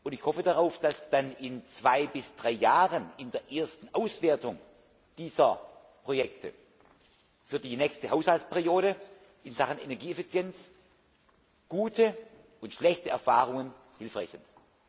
Ich hoffe darauf, dass dann in zwei bis drei Jahren in der ersten Auswertung dieser Projekte für die nächste Haushaltsperiode in Sachen Energieeffizienz gute und schlechte Erfahrungen hilfreich sind.